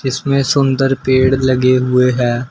इसमें सुंदर पेड़ लगे हुए हैं।